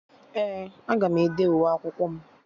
Ee, aga m ede uwe akwụkwọ m